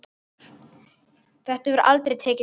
Þetta hefur aldrei tekist betur.